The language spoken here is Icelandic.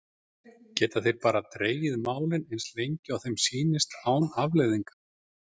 Geta þeir bara dregið málið eins lengi og þeim sýnist án afleiðinga?